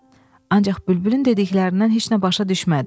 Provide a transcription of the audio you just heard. Ancaq bülbülün dediklərindən heç nə başa düşmədi.